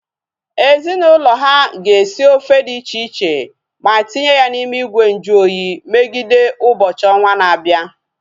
Ezinaụlọ ha ga-esi ofe dị iche iche ma tinye ya n'ime ìgwè nju oyi megide ụbọchị ọnwa na-abịa